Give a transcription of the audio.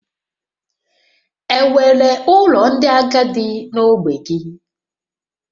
Enwere ụlọ ndị agadi na ogbe gị?